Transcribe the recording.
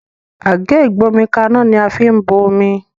Àgé ìgbómikaná ní a fín bó omí